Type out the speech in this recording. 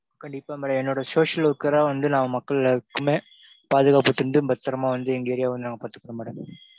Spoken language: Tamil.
கண்டிப்பா madam என்னோட social worker அ வந்து நா மக்கள் எல்லாருக்குமே பாதுகாப்பு தந்து பத்திரமா வந்து எங்க area வா நாங்க பாத்துக்குவோம் madam.